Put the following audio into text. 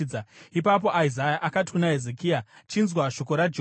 Ipapo Isaya akati kuna Hezekia, “Chinzwa shoko raJehovha: